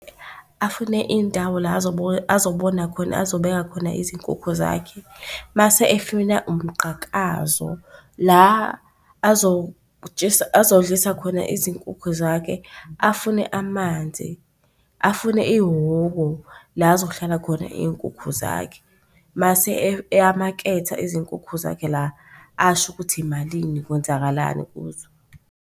Afune indawo la azobona khona, azobeka khona izinkukhu zakhe. Mase efuna umgqakazo la azodlisa khona izinkukhu zakhe, afune amanzi, afune ihhoko la kuzohlala khona iy'nkukhu zakhe, mase eyamaketha izinkukhu zakhe la asho ukuthi imalini kwenzakalani kuzo.